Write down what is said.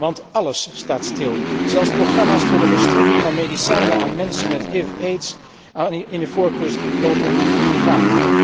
Want álles staat stil, zelfs programma's voor de verstrekking van medicijnen aan mensen met HIV AIDS in Ivoorkust lopen nu gevaar.